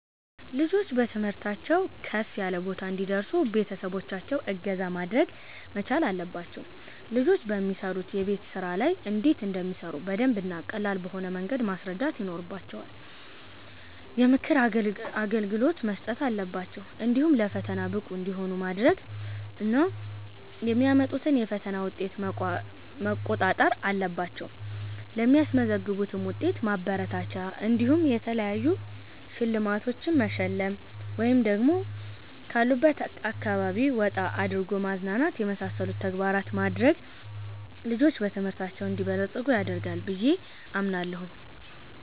ልጆች በትምህርታቸው ከፍ ያለ ቦታ እንዲደርሱ ቤተሰቦቻቸው እገዛ ማድረግ መቻል አለባቸው ልጆች በሚሰሩት የቤት ስራ ላይ እንዴት እንደሚሰሩ በደንብ እና ቀላል በሆነ መንገድ ማስረዳት ይኖርባቸዋል፣ የምክር አገልግሎት መስጠት አለባቸው፣ እንዲሁ ለፈተና ብቁ እንዲሆኑ ማድረግ እና የሚያመጡትን የፈተና ዉጤት መቋጣጠር አለባቸው ለሚያስመዘግቡትም ዉጤት ማበረታቻ እንዲሆን የተለያዩ ሽልማቶቺን መሸለም ወይ ደግሞ ካሉበት አካባቢ ወጣ አድርጎ ማዝናናት የመሳሰሉትን ተግባራት ማድረግ ልጆች በትምህርታቸው እንዲበለፅጉ ያደርጋል ብየ አምናለሁ